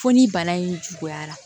Fo ni bana in juguyara